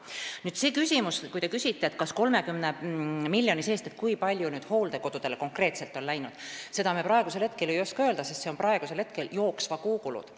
Kui te küsite, kui palju on sellest 30 miljonist konkreetselt hooldekodudele läinud, siis seda me ei oska öelda, sest need on praegu jooksva kuu ja jooksva aasta kulud.